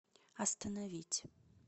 остановить